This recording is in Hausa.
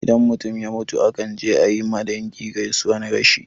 Idan mutum ya mutu akan je ayi ma dangi gaisuwan rashi